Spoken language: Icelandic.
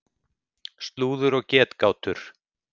Slúður og getgátur.